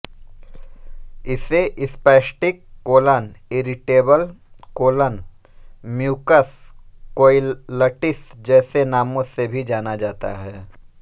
इसे spastic colon irritable colon mucus colitis जैसे नामों से भी जाना जाता है